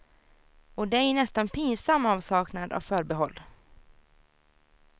Och det i nästan pinsam avsaknad av förbehåll.